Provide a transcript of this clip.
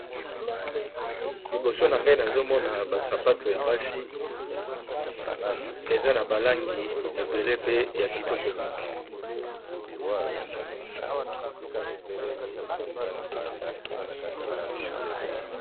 Liboso nangai nazo mona basapato ya basi eza nabalangi ebele pe yakitoko mingi